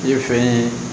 I fɛ ye